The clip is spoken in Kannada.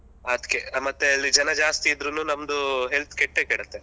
ಅದ್ಕೆ ಮತ್ತೆ ಅಲ್ಲಿ ಜನ ಜಾಸ್ತಿ ಇದ್ರುನು ನಮ್ದು health ಕೆಟ್ಟೆ ಕೆಡುತ್ತೆ.